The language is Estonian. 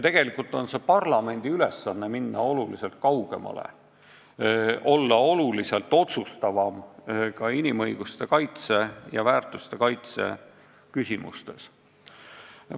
Tegelikult ongi see parlamendi ülesanne: minna oluliselt kaugemale, olla oluliselt otsustavam ka inimõiguste kaitse ja väärtuste kaitse küsimustes.